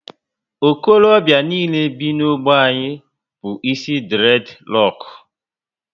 Okorobịa niile bi na ogbe anyị bu isi dured roku